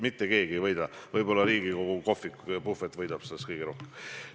Mitte keegi ei võida, võib-olla Riigikogu kohvik võidab sellest kõige rohkem.